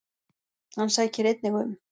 Hann sækir einnig um.